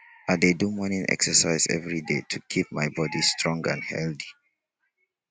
i dey do morning exercise every day to keep my body strong and healthy.